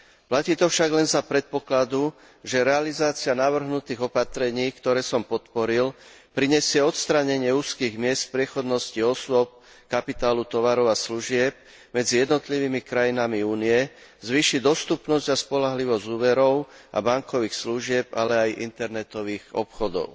Platí to však len za predpokladu, že realizácia navrhnutých opatrení, ktoré som podporil, prinesie odstránenie úzkych miest v priechodnosti osôb, kapitálu, tovarov a služieb medzi jednotlivými krajinami Únie, zvýši dostupnosť a spoľahlivosť úverov a bankových služieb, ale aj internetových obchodov.